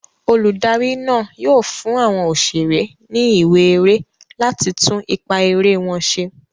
Olùdarí náà yóò fún àwọn òṣèré ní ìwé eré láti tún ipá eré wọn ṣe.